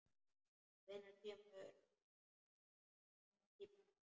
Hvenær kemurðu næst í bæinn?